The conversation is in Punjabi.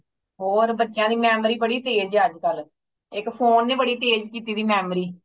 ਹੋਰ ਬੱਚਿਆਂ ਦੀ memory ਬੜੀ ਤੇਜ ਏ ਅੱਜ ਕੱਲ ਇੱਕ ਫੋਨ ਨੇ ਬੜੀ ਤੇਜ ਕੀਤੀ ਦੀ ਏ memory